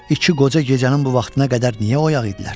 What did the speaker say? İki qoca gecənin bu vaxtına qədər niyə oyaq idilər?